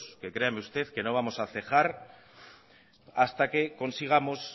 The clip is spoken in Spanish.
que créame usted que no vamos a cejar hasta que consigamos